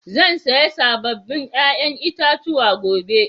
Zan siya sabobin ƴa'ƴan itatuwa gobe.